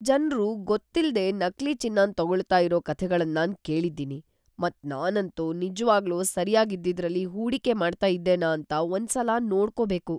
ಜನ್ರು ಗೊತ್ತಿಲ್ದೆ ನಕಲಿ ಚಿನ್ನನ್ ತಗೊಳ್ತಾ ಇರೋ ಕಥೆಗಳನ್ ನಾನ್ ಕೇಳಿದ್ದೀನಿ, ಮತ್ ನಾನಂತೂ ನಿಜ್ವಾಗ್ಲೂ ಸರ್ಯಾಗ್ ಇದ್ದಿದ್ರಲ್ಲಿ ಹೂಡಿಕೆ ಮಾಡ್ತಾ ಇದ್ದೇನಾ ಅಂತ ಒಂದ್ ಸಲ ನೋಡ್ಕೋಬೇಕು.